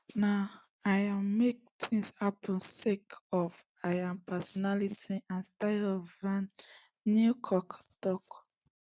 na im make tins happun sake of im personality and style prof van nieuwkerk tok